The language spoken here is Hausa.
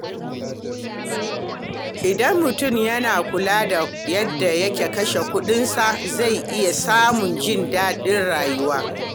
Idan mutum yana kula da yadda yake kashe kuɗinsa, zai iya samun jin daɗin rayuwa.